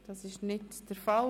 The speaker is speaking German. – Dies ist nicht der Fall.